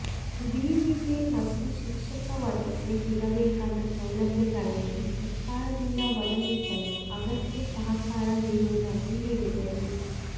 ವಿವಿಗೆ ಮತ್ತು ಶಿಕ್ಷಕ ವರ್ಗಕ್ಕೆ ಸಿಗಬೇಕಾದ ಸೌಲಭ್ಯಗಳನ್ನು ಸರ್ಕಾರದಿಂದ ಒದಗಿಸಲು ಅಗತ್ಯ ಸಹಕಾರ ನೀಡುವುದಾಗಿ ಹೇಳಿದರು